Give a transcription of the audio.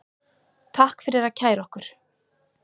Takk fyrir að kæra okkur